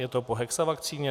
Je to po hexavakcíně?